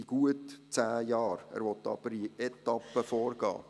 Er will aber in Etappen vorgehen.